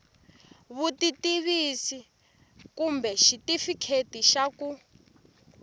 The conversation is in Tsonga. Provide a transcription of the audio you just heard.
vutitivisi kumbe xitifiketi xa ku